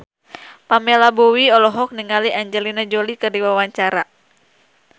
Pamela Bowie olohok ningali Angelina Jolie keur diwawancara